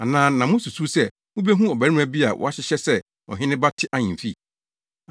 Anaa na mususuw sɛ mubehu ɔbarima bi a wahyehyɛ sɛ ɔhene ba te ahemfi?